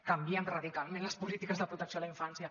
canviem radicalment les polítiques de protecció a la infància